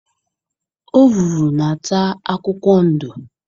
Ọvụvụ na-ata akwụkwọ ndo.